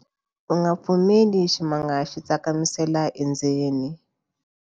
U nga pfumeleli ximanga xi tsakamisela endzeni.